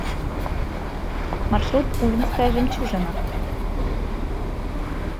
маршрут увинская жемчужина